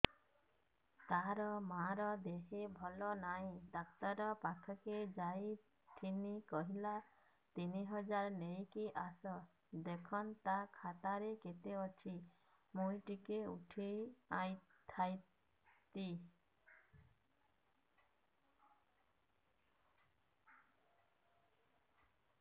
ତାର ମାର ଦେହେ ଭଲ ନାଇଁ ଡାକ୍ତର ପଖକେ ଯାଈଥିନି କହିଲା ତିନ ହଜାର ନେଇକି ଆସ ଦେଖୁନ ନା ଖାତାରେ କେତେ ଅଛି ମୁଇଁ ଟିକେ ଉଠେଇ ଥାଇତି